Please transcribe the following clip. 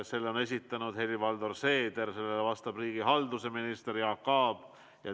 Selle on esitanud Helir-Valdor Seeder ja sellele vastab riigihalduse minister Jaak Aab.